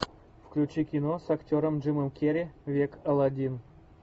включи кино с актером джимом керри век алладин